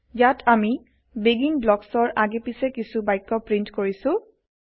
ইয়াত আমি বেগিন ব্লকছৰ আগে পাছে কিছু বাক্য প্ৰীন্ট কৰিছো